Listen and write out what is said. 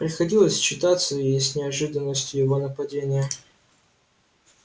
приходилось считаться и с неожиданностью его нападения